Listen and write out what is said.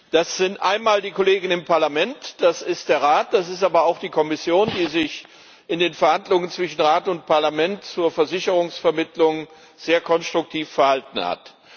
Das sind einmal die Kollegen im Parlament, das ist der Rat, das ist aber auch die Kommission, die sich in den Verhandlungen zwischen Rat und Parlament zur Versicherungsvermittlung sehr konstruktiv verhalten hat.